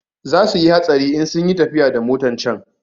Za suyi hatsarin in sunyi tafiya da motan can